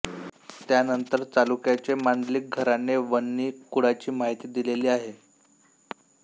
त्यानंतर चालुक्यांचे मांडलिक घराणे वन्ही कुळाची माहिती दिलेली आहे